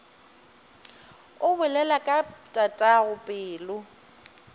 o bolela ka tatago pelo